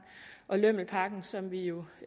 og lømmelpakken som vi jo